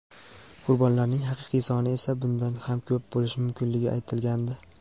qurbonlarning haqiqiy soni esa bundan ham ko‘p bo‘lishi mumkinligi aytilgandi.